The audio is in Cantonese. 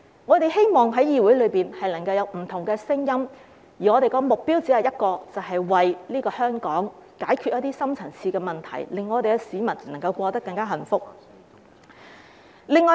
我們希望議會內能夠有不同的聲音，而我們的目標只有一個，便是為香港解決一些深層次問題，令市民能夠更加幸福。